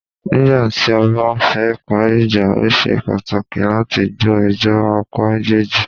Nígbà tí a bá fẹ parí ìjà,o ṣe pàtàkì láti gbọ́ ẹjọ́ apá méjèèjì.